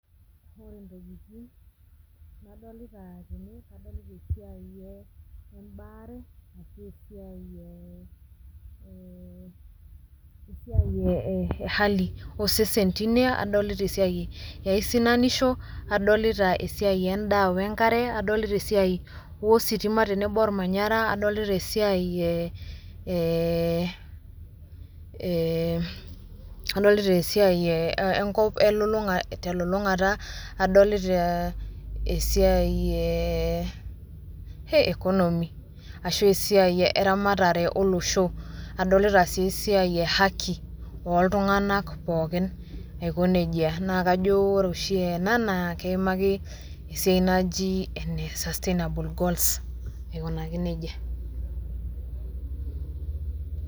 Ore intokitin nadolita tene . Adolita esiai oo ebaare ashu, esiai eh esiai ehali osesen tine. Adolita esiai eaisinanisho, adolita esiai endaa wenkare , adolita esiai ositima tenebo ormanyara, adolita esiai eh eh adolita esiai eh enkop elulungata, adolita esiai eh hee economy ashu esiai eramatare olosho . Adolita si esiai ahaki oltunganak pookin aikonejia. Naa kajo ore oshi ena naa keimaki esiai naji ene sustainable goals aikunaki nejia.